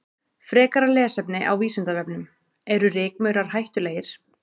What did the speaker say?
Frekara lesefni á Vísindavefnum: Eru rykmaurar hættulegir?